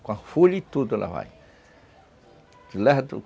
Com a folha e tudo ela vai